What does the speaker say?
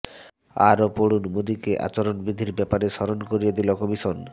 আরও পড়ুন মোদীকে আচরণবিধির ব্যাপারে স্মরণ করিয়ে দিল কমিশন